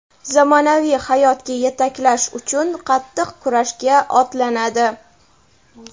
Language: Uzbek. zamonaviy hayotga yetaklash uchun qattiq kurashga otlanadi.